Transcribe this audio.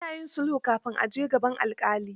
Ana yin sulhu kafin a je gaban alƙali.